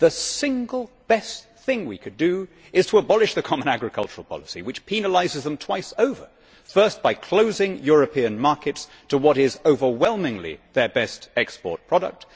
The single best thing we could do is to abolish the common agricultural policy which penalises them twice over firstly, by closing European markets to what is overwhelmingly their best export product